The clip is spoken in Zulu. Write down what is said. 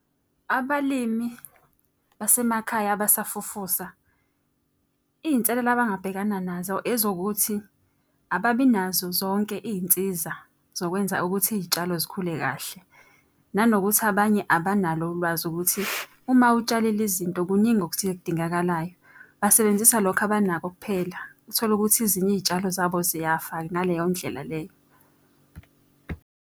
Abalimi basemakhaya abasafufusa iy'nselelo abangabhekana nazo ezokuthi, ababi nazo zonke iy'nsiza zokwenza ukuthi iy'tshalo zikhule kahle. Nanokuthi abanye abanalo ulwazi ukuthi uma utshale le zinto kuningi okuthile okudingakalayo. Basebenzisa lokho abanako kuphela. Uthole ukuthi ezinye iy'tshalo zabo ziyafa ngaleyo ndlela leyo.